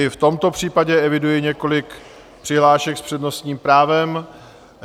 I v tomto případě eviduji několik přihlášek s přednostním právem.